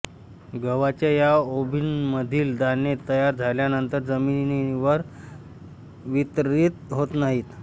गव्हाच्या या ओंबीमधील दाणे तयार झाल्यानंतर जमिनीवर वितरित होत नाहीत